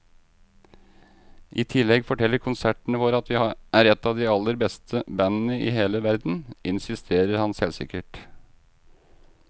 I tillegg forteller konsertene våre at vi er et av de aller beste bandene i hele verden, insisterer han selvsikkert.